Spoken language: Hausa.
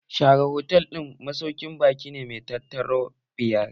Sheraton Hotel masaukin baƙi ne mai tauraro biyar